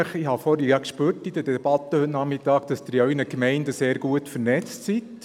Ich habe in der Debatte am Nachmittag gespürt, dass Sie in Ihren Gemeinden sehr gut vernetzt sind.